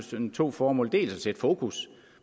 to formål dels at sætte fokus